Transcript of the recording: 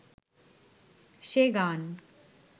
সে গান